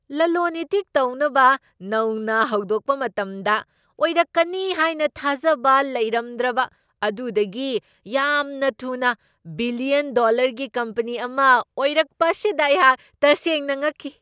ꯂꯂꯣꯟ ꯏꯇꯤꯛ ꯇꯧꯅꯕ ꯅꯧꯅ ꯍꯧꯗꯣꯛꯄ ꯃꯇꯝꯗ ꯑꯣꯏꯔꯛꯀꯅꯤ ꯍꯥꯏꯅ ꯊꯥꯖꯕ ꯂꯩꯔꯝꯗ꯭ꯔꯕ ꯑꯗꯨꯗꯒꯤ ꯌꯥꯝꯅ ꯊꯨꯅ ꯕꯤꯂꯤꯌꯟ ꯗꯣꯂꯔꯒꯤ ꯀꯝꯄꯅꯤ ꯑꯃ ꯑꯣꯏꯔꯛꯄ ꯑꯁꯤꯗ ꯑꯩꯍꯥꯛ ꯇꯁꯦꯡꯅ ꯉꯛꯈꯤ꯫